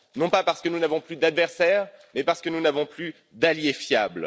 Non pas parce que nous n'avons plus d'adversaires, mais parce que nous n'avons plus d'allié fiable.